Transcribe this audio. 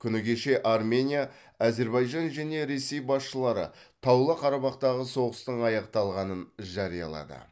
күні кеше армения әзербайжан және ресей басшылары таулы қарабақтағы соғыстың аяқталғанын жариялады